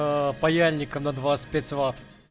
паяльник на двадцать пять ват